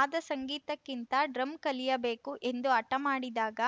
ಆದ ಸಂಗೀತಕ್ಕಿಂತ ಡ್ರಮ್‌ ಕಲಿಯಬೇಕು ಎಂದು ಹಠ ಮಾಡಿದಾಗ